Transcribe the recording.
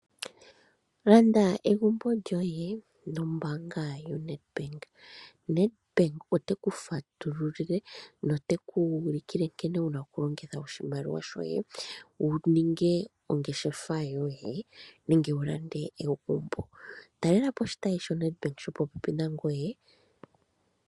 Landa egumbo lyoye nombaanga yoNEDBANK, NEDBANK oteku fatululile noteku ulikile nkene wuna okulongitha oshimaliwa shoye wuninge ongeshefa yoye nenge wu lande egumbo, onkee talela po oshitayi sho popepi nangoye sho NEDBANK.